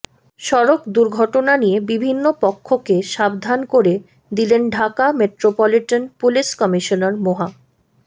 সড়ক দুর্ঘটনা নিয়ে বিভিন্ন পক্ষকে সাবধান করে দিলেন ঢাকা মেট্রোপলিটন পুলিশ কমিশনার মোহা